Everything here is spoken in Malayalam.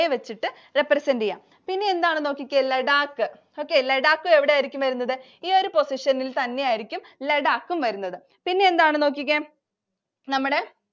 വെച്ചിട്ട് represent ചെയ്യുക. പിന്നെ എന്താണെന്നു നോക്കിക്കേ. ലഡാക്ക്. Okay ലഡാക്കും എവിടെ ആയിരിക്കും വരുന്നത്? ഈ ഒരു position ൽ തന്നെ ആയിരിക്കും ലഡാക്കും വരുന്നത്. പിന്നെ എന്താണെന്നു നോക്കിക്കേ. നമ്മുടെ